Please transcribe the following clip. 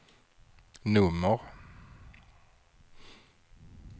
nummer